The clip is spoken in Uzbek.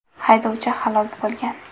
Haydovchi halok bo‘lgan.